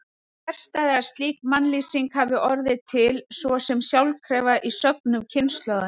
Það er fjarstæða að slík mannlýsing hafi orðið til svo sem sjálfkrafa í sögnum kynslóðanna.